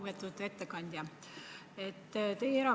Lugupeetud ettekandja!